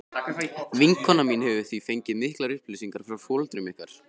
Vinkona mín hefur því fengið miklar upplýsingar frá foreldrum ykkar.